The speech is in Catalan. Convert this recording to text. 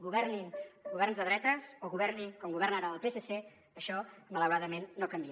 governin governs de dretes o governi com governa ara el psc això malauradament no canvia